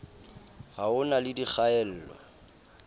ha ho na le dikgaello